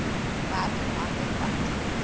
werker hande vat